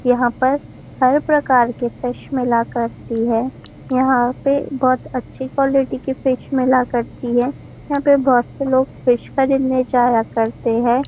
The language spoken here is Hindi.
यहाँ पर हर प्रकार की फिश मिला करती है यहाँ पे बहुत अच्छी क्वालिटी की फिश मिला करती है यहाँ पे बहुत से लोग फिश खरीदने जाया करते है।